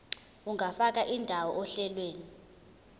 ungafaka indawo ohlelweni